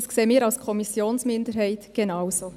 Das sehen wir von der Kommissionsminderheit genauso.